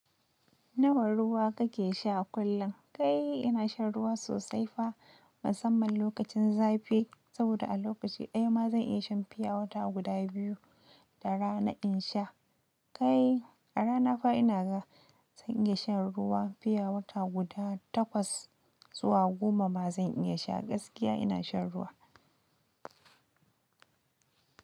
Nawa ruwa kake sha a kullum? Kai ina shan ruwa sosai fa, musamman lokacin zafi. Saboda a lokaci ɗaya ma zan iya shan fiya wata guda biyu da rana in sha. Kai a rana fa ina ga zan iya shan ruwa fiya wata guda takwas zuwa goma ma zan iya sha. Gaskiya ina shan ruwa.